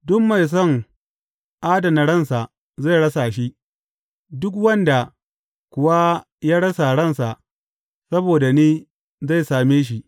Duk mai son adana ransa zai rasa shi, duk wanda kuwa ya rasa ransa saboda ni zai same shi.